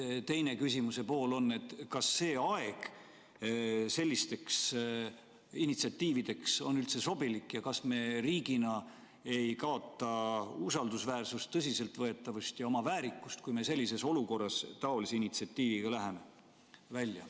Teine küsimuse pool on, et kas aeg sellisteks initsiatiivideks on üldse sobilik ja kas me riigina ei kaota usaldusväärsust, tõsiseltvõetavust ja oma väärikust, kui me sellises olukorras läheme taolise initsiatiiviga välja.